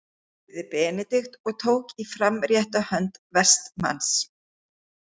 spurði Benedikt og tók í framrétta hönd Vestmanns.